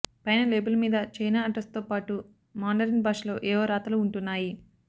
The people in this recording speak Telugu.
పైన లేబుల్ మీద చైనా అడ్రస్తో పాటు మాండరిన్ భాషలో ఏవో రాతలు ఉంటున్నాయి